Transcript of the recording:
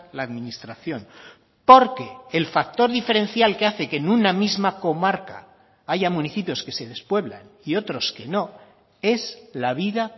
la administración porque el factor diferencial que hace que en una misma comarca haya municipios que se despueblan y otros que no es la vida